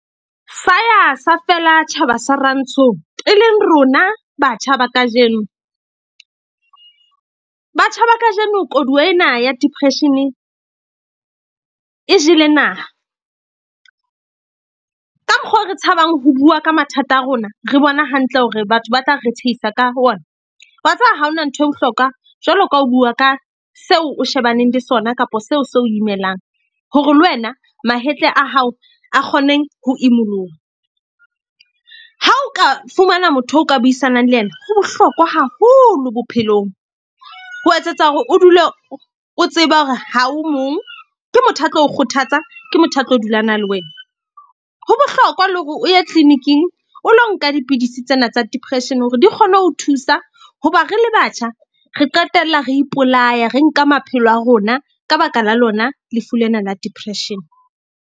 Sa ya sa feela tjhaba sa rantsho eleng rona batjha ba kajeno. Batjha ba kajeno koduwa ena ya depression-e e jele naha. Ka mokgwa o re tshabang ho bua ka mathata a rona. Re bona hantle hore batho ba tla re tshehisa ka ona. Wa tseba ha hona ntho e bohlokwa jwalo ka ho bua ka seo o shebaneng le sona kapa seo se o imelang. Hore le wena mahetla a hao a kgone ho imoloha. Ha o ka fumana motho o ka buisanang le yena, ho bohlokwa haholo bophelong. Ho etsetsa hore o dule o tseba hore ha o mong. Ke motho a tlo o kgothatsa, ke motho, a tlo dula a na le wena. Ho bohlokwa le hore o ye clinic-ing o lo nka dipidisi tsena tsa depression hore di kgone ho thusa. Hoba re le batjha, re qetella re ipolaya re nka maphelo a rona ka baka la lona lefu lena la depression.